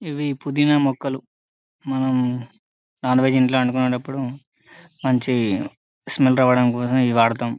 ఇవి పుదీనా మొక్కలు మనం నాన్వెజ్ ఇంట్లో వాడుకునపుడు మంచి స్మెల్ రావడం కోసం ఇవి వాడుతాం .